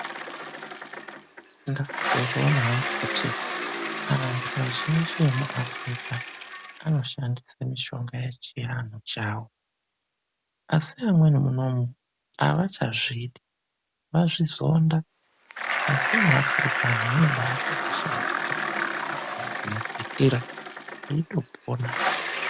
Ndakazozviona hangu kuti anthu azhinji emuAfurika anoshandisa mushonga yechi anthu chawo. Asi amweni munomu, avachazvidi, vazvizonda. Asi muAfurika anthu anobaato ashandisa makwitira eitopona.